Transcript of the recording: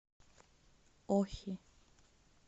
охи